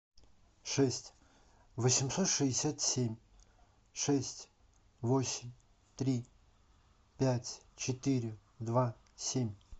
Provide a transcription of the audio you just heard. шесть восемьсот шестьдесят семь шесть восемь три пять четыре два семь